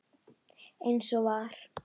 Eins og var.